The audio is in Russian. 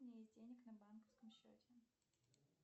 у меня есть денег на банковском счете